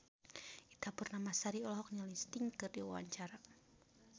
Ita Purnamasari olohok ningali Sting keur diwawancara